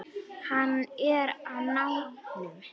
Hann er á nálum.